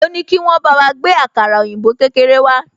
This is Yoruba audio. Mo ní kí wọ́n bá wa gbé àkàrà òyìnbó kékeré wá